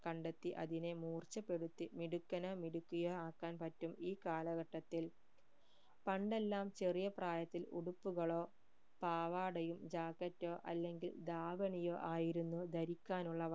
കണ്ടെത്തി അതിനെ മൂർച്ചപ്പെടുത്തി മിടുക്കനോ മിടുക്കിയോ ആക്കാൻ പറ്റും ഈ കാലഘട്ടത്തിൽ പണ്ടെല്ലാം ചെറിയ പ്രായത്തിൽ ഉടുപ്പുകളോ പാവാടയും jacket ഓ അല്ലെങ്കിൽ ധാവണിയോ ആയിരുന്നു ധരിക്കാനുള്ളവ